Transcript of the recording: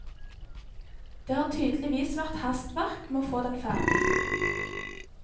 Det har tydeligvis vært hastverk med å få den ferdig.